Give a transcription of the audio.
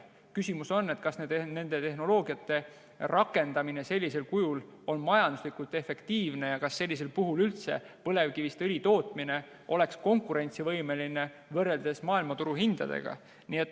Küsimus on, kas nende tehnoloogiate rakendamine on majanduslikult efektiivne ja kas sellisel puhul oleks põlevkivist õli tootmine maailmaturu hindadega võrreldes üldse konkurentsivõimeline.